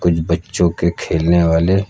कुछ बच्चों के खेलने वाले--